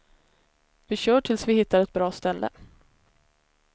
Vi kör tills vi hittar ett bra ställe.